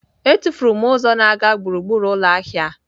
Etufuru m ụzọ na-aga gburugburu ụlọ ahịa.